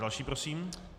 Další prosím.